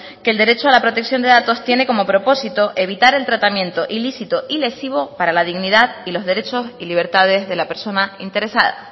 que el derecho a la protección de datos tiene como propósito evitar el tratamiento ilícito y lesivo para la dignidad y los derechos y libertades de la persona interesada